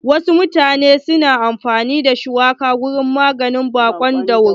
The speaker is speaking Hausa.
Wasu mutanen na amfani da shuwaka wurin maganin baƙon dauro.